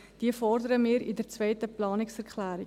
Diese fordern wir mit der zweiten Planungserklärung.